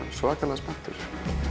svakalega spenntur